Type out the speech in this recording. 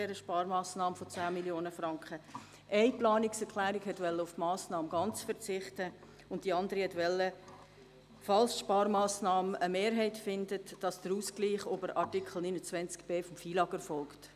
Eine Planungserklärung wollte auf diese Massnahme ganz verzichten, die andere wollte einen Ausgleich über Artikel 29b FILAG, falls die Sparmassnahme eine Mehrheit findet.